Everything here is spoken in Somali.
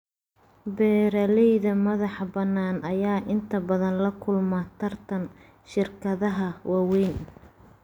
Beeralayda madaxa banaan ayaa inta badan la kulma tartan shirkadaha waaweyn.